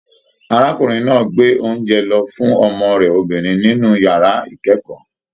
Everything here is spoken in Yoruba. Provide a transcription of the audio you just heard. Arákùnrin náà gbé oúnjẹ lọ fún ọmọ rẹ obìnrin nínú yàrá ikẹkọọ.